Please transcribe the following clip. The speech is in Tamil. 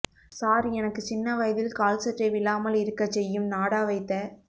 சார் எனக்கு சின்ன வயதில் கால்சட்டை விழாமல் இருக்கச் செய்யும் நாடா வைத்த